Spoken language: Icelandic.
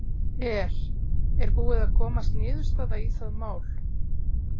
Er, er búið að komast niðurstaða í það mál?